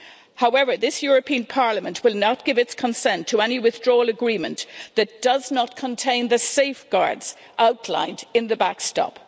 However, this European Parliament will not give its consent to any withdrawal agreement that does not contain the safeguards outlined in the backstop.